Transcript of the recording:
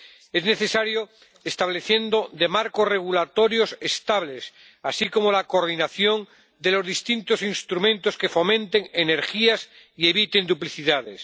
Es necesario el establecimiento de marcos regulatorios estables, así como la coordinación de los distintos instrumentos que fomenten energías y eviten duplicidades.